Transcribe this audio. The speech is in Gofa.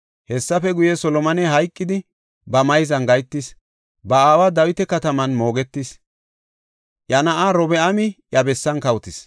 Hessafe guye, Solomoney hayqidi, ba mayzan gahetis; ba aawa Dawita Kataman moogetis. Iya na7ay Robi7aami iya bessan kawotis.